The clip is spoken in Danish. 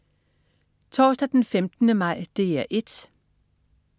Torsdag den 15. maj - DR 1: